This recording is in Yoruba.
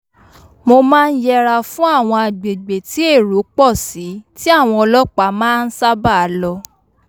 mo máa ń yẹra fún àwọn agbègbè tí èrò pọ̀ sí tí àwọn ọlọ́pàá máa ń sábàá lọ